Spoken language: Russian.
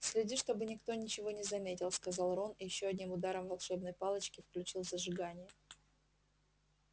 следи чтобы никто ничего не заметил сказал рон и ещё одним ударом волшебной палочки включил зажигание